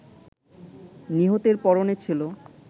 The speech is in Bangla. নিহতের পরণে ছিল